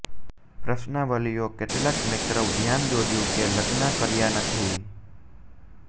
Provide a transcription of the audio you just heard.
પ્રશ્નાવલિઓ કેટલાક મૅકરવ ધ્યાન દોર્યું કે લગ્ન કર્યા નથી